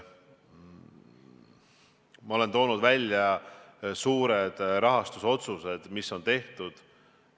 Ma olen toonud välja suured rahastusotsused, mis on tehtud.